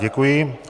Děkuji.